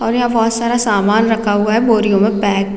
और यहाँ बोहत सारा सामान रखा हुआ है बोरी में पैक--